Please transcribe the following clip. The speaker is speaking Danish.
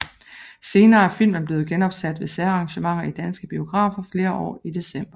Senere er filmen blevet genopsat ved særarrangementer i danske biografer flere år i december